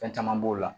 Fɛn caman b'o la